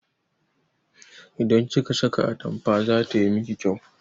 Idan kika saka atampa zata miki kyau